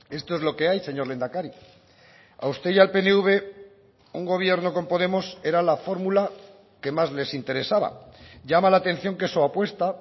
esto es lo que hay señor lehendakari a usted y al pnv un gobierno con podemos era la fórmula que más les interesaba llama la atención que su apuesta